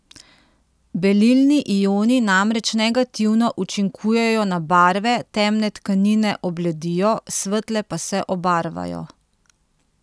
Belilni ioni namreč negativno učinkujejo na barve, temne tkanine obledijo, svetle pa se obarvajo.